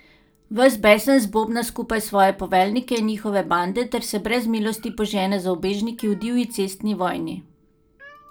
Ves besen zbobna skupaj svoje poveljnike in njihove bande ter se brez milosti požene za ubežniki v divji cestni vojni.